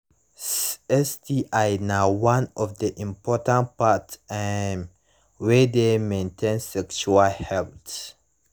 sti na one of the important part um wey de maintain sexual health